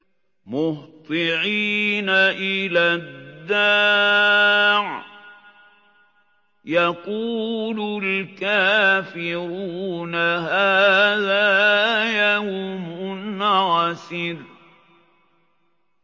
مُّهْطِعِينَ إِلَى الدَّاعِ ۖ يَقُولُ الْكَافِرُونَ هَٰذَا يَوْمٌ عَسِرٌ